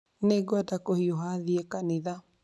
Nĩngwenda kũhiũha thiĩ kanitha